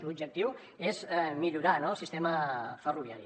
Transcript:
l’objectiu és millorar el sistema ferroviari